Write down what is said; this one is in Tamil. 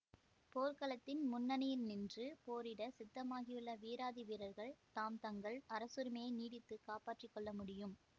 போர்க்களத்தில் முன்னணியில் நின்று போரிடச் சித்தமாகியுள்ள வீராதி வீரர்கள் தாம் தங்கள் அரசுரிமையை நீடித்து காப்பாற்றி கொள்ள முடியும்